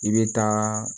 I bɛ taa